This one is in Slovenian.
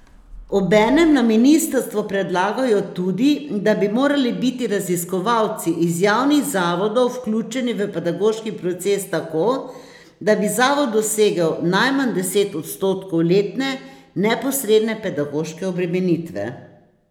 Obenem na ministrstvu predlagajo tudi, da bi morali biti raziskovalci iz javnih zavodov vključeni v pedagoški proces tako, da bi zavod dosegel najmanj deset odstotkov letne neposredne pedagoške obremenitve.